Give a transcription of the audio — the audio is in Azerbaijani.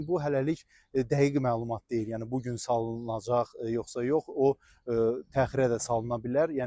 Lakin bu hələlik dəqiq məlumat deyil, yəni bu gün salınacaq yoxsa yox, o təxirə də salına bilər.